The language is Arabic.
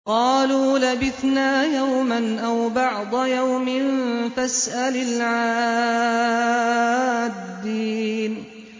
قَالُوا لَبِثْنَا يَوْمًا أَوْ بَعْضَ يَوْمٍ فَاسْأَلِ الْعَادِّينَ